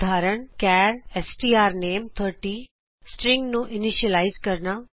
ਉਦਾਹਰਨ ਚਾਰ strname30 string ਨੂੰ ਇਨਿਸ਼ਿਅਲਾਇਜ਼ ਕਰਨਾ